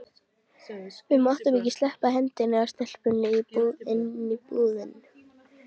Við máttum ekki sleppa hendinni af stelpunni inni í búðum.